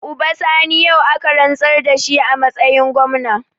Uba Sani yau aka rantsar da shi a matsayin gwamna.